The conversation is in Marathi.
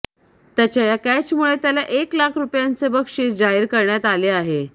त्याच्या या कॅचमुळे त्याला एक लाख रूपयांचे बक्षिस जाहीर करण्यात आले आहे